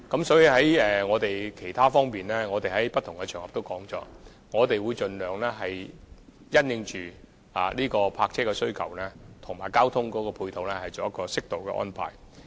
所以，我們在不同場合已表示，我們會盡量就泊車的需求和交通配套作適當安排。